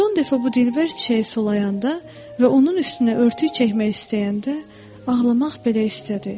Son dəfə bu dilbər çiçəyi sulayanda və onun üstünə örtük çəkmək istəyəndə ağlamaq belə istədi.